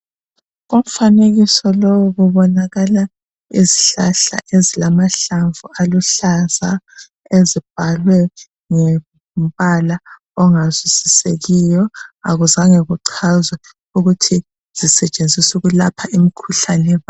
Kumfanekiso lowu kubonakala isihlahla esilamahlamvu aluhlaza esibhalwe ngombala ongazwisisekiyo. Akuzange kuchazwe ukuthi sisetshenziswa ukulapha imikhuhlane bani.